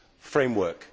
framework.